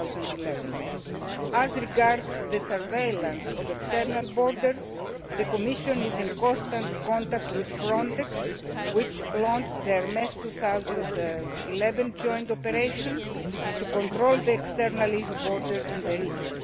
2011. As regards the surveillance of external borders, the Commission is in constant contact with Frontex, which has launched the Hermes 2011 joint operation to control the EU external border in the region.